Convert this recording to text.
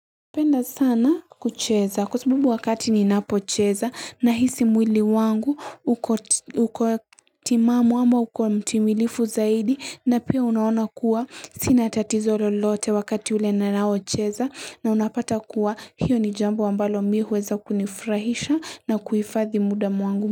Napenda sana kucheza kwa sababu wakati ninapocheza nahisi mwili wangu uko uko timamu ama uko mtimilifu zaidi na pia huwa naona kuwa sina tatizo lolote wakati ule ninapo cheza. Na ninapata kuwa hilo ni jambo ambalo mimi huweza kunifurahisha na kuhifadhi muda wangu.